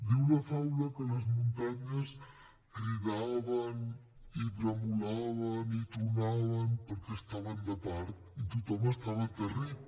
diu la faula que les muntanyes cridaven i bramulaven i tronaven perquè estaven de part i tothom estava aterrit